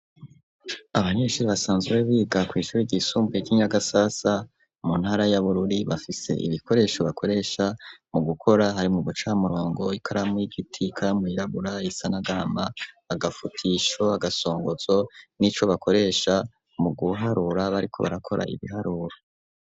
abanyeshure basanzwe biga kw'ishure ry'isumbuye ry'inyagasasa mu ntara y'abururi bafise ibikoresho bakoresha mu gukora, hari udu murongo ikaramu y'igitika mu irabura isanagama agafutisho agasongozo n'ico bakoresha mu guharura bariko barakora ibiharuro.